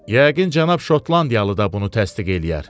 Yəqin cənab Şotlandiyalı da bunu təsdiq eləyər.